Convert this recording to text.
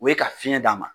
O ye ka fiɲɛ d'a ma